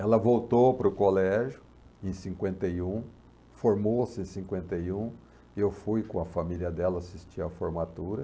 Ela voltou para o colégio em cinquenta e um, formou-se em cinquenta e um, eu fui com a família dela assistir a formatura.